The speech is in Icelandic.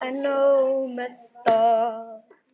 En nóg með það.